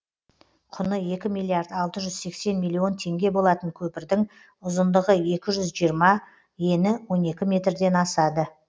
құны екі миллиард алты жүз сексен миллион теңге болатын көпірдің ұзындығы екі жүз жиырма ені он екі метрден асады